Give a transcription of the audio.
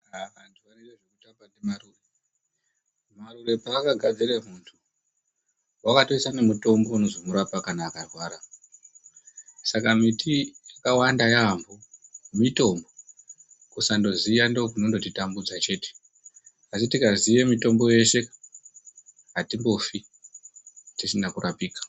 Antu anoite zvekutamba ndiMarure. Marure paakagadzire muntu, wakatoise nemitombo inozomurape kana akarwara. Saka miti yakawanda yaamho mitombo, kusandoziya ndiko kunongotitambudza chete. Asi tikaziye mitombo yeshe atimbofi, tisina kurapika.